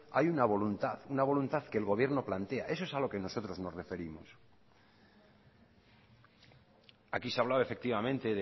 hay una voluntad una voluntad que el gobierno plantea eso es a lo que nosotros nos referimos aquí se ha hablado efectivamente